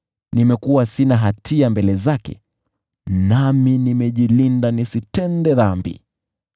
Nimekuwa sina hatia mbele zake, nami nimejilinda nisitende dhambi.